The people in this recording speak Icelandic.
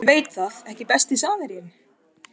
Ég veit það ekki Besti samherjinn?